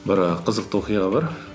бір і қызықты оқиға бар